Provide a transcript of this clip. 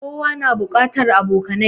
Kowa na buƙatan abokanai